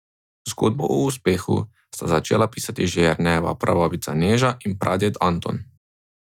Zgodbo o uspehu sta začela pisati že Jernejeva prababica Neža in praded Anton.